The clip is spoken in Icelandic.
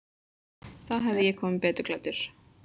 Þá hefði ég komið betur klæddur.